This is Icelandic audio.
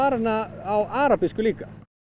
hana á arabísku líka